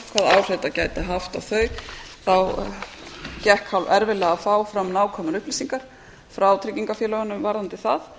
áhrif þetta gæti haft á þau gekk hálferfiðlega að fá fram nákvæmar upplýsingar frá tryggingafélögum varðandi það